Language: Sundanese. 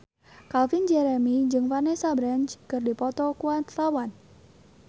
Calvin Jeremy jeung Vanessa Branch keur dipoto ku wartawan